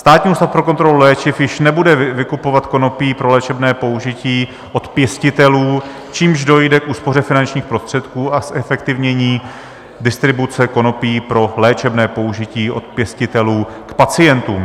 Státní ústav pro kontrolu léčiv již nebude vykupovat konopí pro léčebné použití od pěstitelů, čímž dojde k úspoře finančních prostředků a zefektivnění distribuce konopí pro léčebné použití od pěstitelů k pacientům.